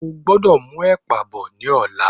O gbọ́dọ̀ mú ẹ̀pà bọ̀ ní ọ̀la.